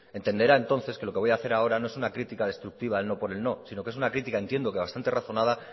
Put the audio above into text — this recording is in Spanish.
entenderá entonces que lo que voy a hacer ahora no es una crítica destructiva el no por el no si no que es una crítica entiendo que bastante razonada